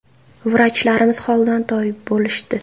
Vrachlarimiz holdan toyib bo‘lishdi.